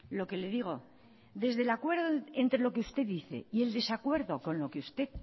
lo que le digo desde el acuerdo entre lo que usted dice y el desacuerdo con lo que usted